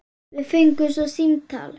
Við fengum svo símtal.